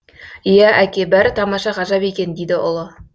иә әке бәрі тамаша ғажап екен дейді ұлы